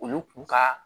Olu kun ka